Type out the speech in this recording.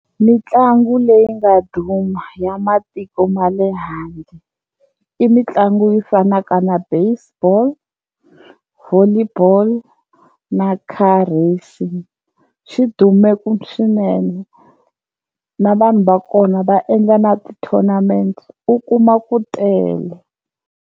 Mitlangu leyi nga duma ya matiko ma le handle i mitlangu yi fanaka na baseball, volleyball na car racing, swi dume ku swinene na vanhu va kona va endla na ti-tournament u kuma ku tele.